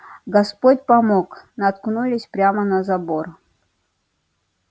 господь помог наткнулись прямо на забор